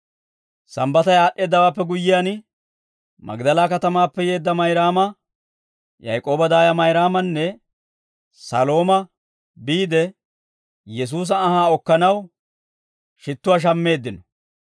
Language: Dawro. Sambbatay aad'd'eeddawaappe guyyiyaan, Magdala katamaappe yeedda Mayraama, Yaak'ooba daaya Mayraamanne Salooma biide, Yesuusa anhaa okkanaw shittuwaa shammeeddino.